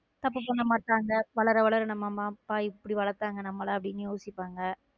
தப்பு பண்ண மாட்டாங்க வளர வளர நம்ம அம்மா அப்பா எப்படி வளத்தாங்க நம்மள அப்படின்னு யோசிப்பாங்க.